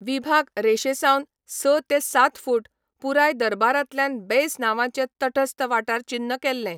विभाग रेशेसावन स ते सात फूट, पुराय दरबारांतल्यान बेस नांवाचे तटस्थ वाठार चिन्न केल्ले.